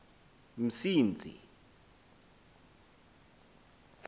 msintsi